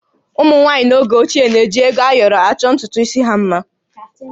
Ụmụ nwaanyị n'oge ochie na-eji ego ayọrọ achọ ntutu isi ha mma